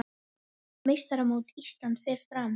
Meistaramót Íslands fer fram